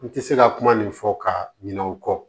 N tɛ se ka kuma nin fɔ ka ɲinɛ o kɔ